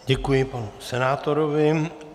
Děkuji panu senátorovi.